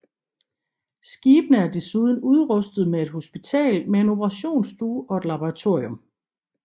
Skibene er desuden udrustet med et hospital med en operationsstue og et laboratorium